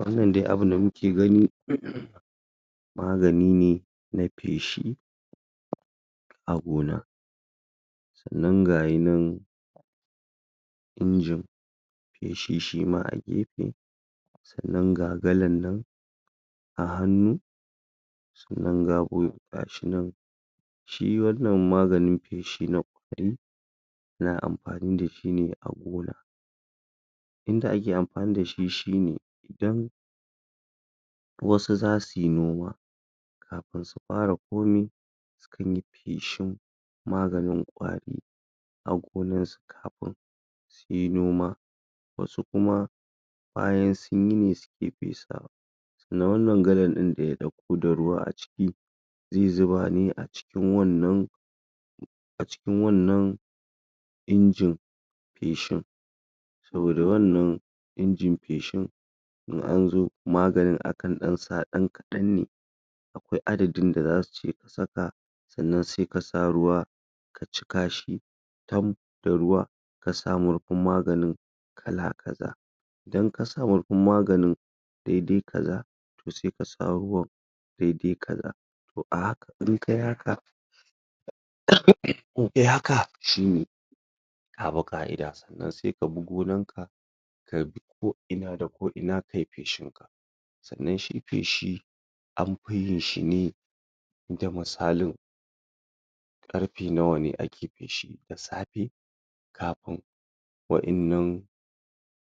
Wannan dai abu da muke gani magani ne na feshi a gona sannan gayinan injin feshi shima a gefe sannan ga galan nan a hannu sannan ga gashinan shi wannan maganin feshi na kwari na amfani da shi ne a gona inda ake amfani da shi shine idan wasu za suyi noma kafin su fara komai su kan yi feshin maganin kwari a gonan su kafin su yi noma wasu kuma bayan sunyi ne suke fesawa sannan wannan galan din da ya ɗauko da ruwa a ciki zai zuba ne acikin wannan acikin wannan injin feshin saboda wannan injin feshin in anzo maganin akan ɗan sa ɗan kaɗan ne akwai adadin da za su ce a saka sannan sai ka sa ruwa ka cika shi dam da ruwa kasa murfin maganin kala-kaza idan ka sa murfin maganin daidai kaza to sai ka sa ruwan dai dai kaza to a haka in kayi haka in kayi haka shine ka bi ƙa'ida sannan sai ka bi gonan ka ka bi ko ina da ko ina kayi feshin sannan shi feshi an fi yin shi ne da misalin ƙarfe nawa ne ake feshi da safe kafin wa'innan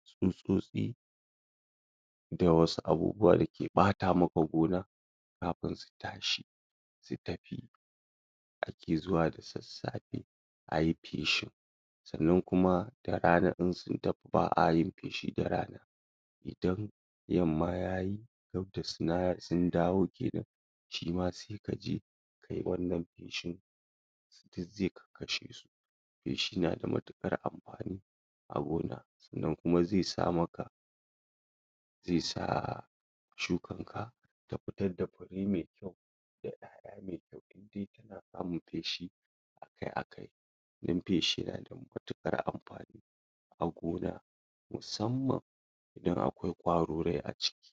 tsutsotsi da wasu abubuwa da ke ɓata maka gona kafin su tashi su tafi ake zuwa da sassafe ayi feshin sannan kuma da rana in sun tafi ba a yin feshi da rana idan yamma yayi sun dawo kenan shima sai ka je kayi wannan feshin duk zai kakkashe su feshi na da matuƙar amfani a gona sannan kuma zai sa maka zai sa shukan ka taa fitar da mai kyau da 'ya'ya mai kyau indai kana feshi dan feshi yana da matuƙar amfani a gona musamman idan akwai kwarorai a ciki.